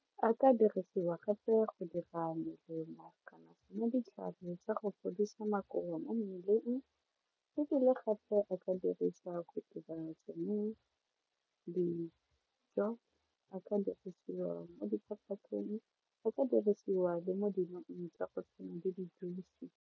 A ka dirisiwa gape go dira melemo kana tsona ditlhare tsa go fodisa makowa mo mmeleng ebile gape a ka dirisa mo dijo a ka dirisiwa mo diphaphateng, a ka dirisiwa le mo dinong tsa go tshwana le di-juice.